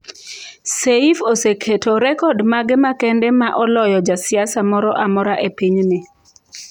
Seif oseketo rekod mage makende ma oloyo jasiasa moro amora e pinyni.